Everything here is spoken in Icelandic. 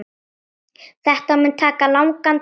Þetta mun taka langan tíma.